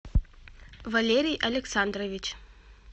валерий александрович